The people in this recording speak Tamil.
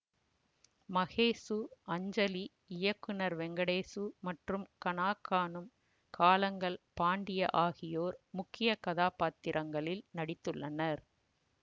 மகேசு அஞ்சலி இயக்குநர் வெங்கடேசு மற்றும் கனாக்காணும் காலங்கள் பாண்டிய ஆகியோர் முக்கிய கதாப்பாத்திரங்களில் நடித்துள்ளனர்